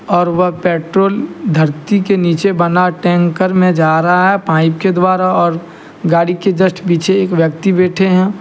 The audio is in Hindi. और वह पेट्रोल धरती के नीचे बना टैंकर में जा रहा है पाइप के द्वारा और गाड़ी के जस्ट पीछे एक व्यक्ति बैठे हैं।